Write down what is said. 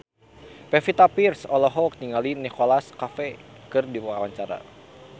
Pevita Pearce olohok ningali Nicholas Cafe keur diwawancara